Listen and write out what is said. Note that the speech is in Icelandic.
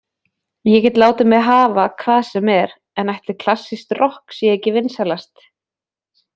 Ég get látið mig hafa hvað sem er, en ætli klassískt rokk sé ekki vinsælast